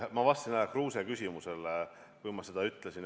Ma vastasin härra Kruuse küsimusele, kui ma seda ütlesin.